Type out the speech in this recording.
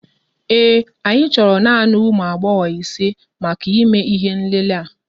Ee, anyị chọrọ naanị ụmụ agbọghọ isé màkà ìmé ihé nlélé a